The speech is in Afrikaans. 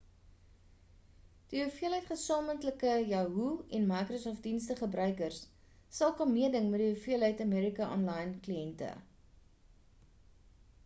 die hoeveelheid gesamentlike yahoo en microsoft dienste gebruikers sal kan meeding met die hoeveelheid aol kliente